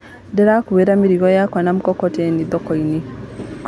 Ndĩrakuire mĩrigo yakwa na mkokoteni thokoinĩ.